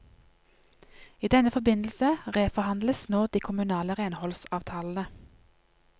I denne forbindelse reforhandles nå de kommunale renholdsavtalene.